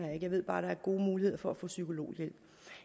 jeg ved bare at der er gode muligheder for at få psykologhjælp